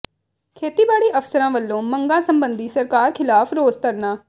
ਖੇਤੀਬਾੜੀ ਅਫ਼ਸਰਾਂ ਵੱਲੋਂ ਮੰਗਾਂ ਸਬੰਧੀ ਸਰਕਾਰ ਖ਼ਿਲਾਫ਼ ਰੋਸ ਧਰਨਾ